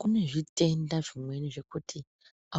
Kune zvitenda zvimweni zvekuti